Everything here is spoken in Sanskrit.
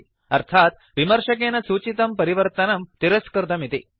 अर्थात् विमर्शकेन सूचितं परिवर्तनं तिरस्कृतमिति